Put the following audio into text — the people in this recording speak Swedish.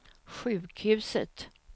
sjukhuset